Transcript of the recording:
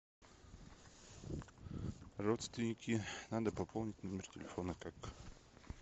родственники надо пополнить номер телефона как